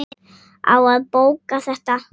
Á að bóka þetta?